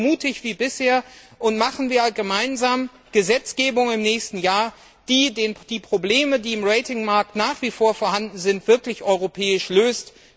Seien Sie so mutig wie bisher, und machen wir gemeinsam eine Gesetzgebung im nächsten Jahr, die die Probleme, die im Ratingmarkt nach wie vor vorhanden sind, wirklich europäisch löst.